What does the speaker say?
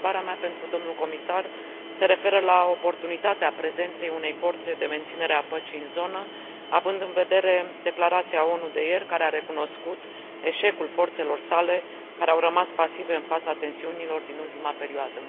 Întrebarea mea pentru dl comisar se referă la oportunitatea prezenței unei forțe de menținere a păcii în zonă, având în vedere declarația ONU de ieri, care a recunoscut eșecul forțelor sale, care au rămas pasive în fața tensiunilor din ultima perioadă.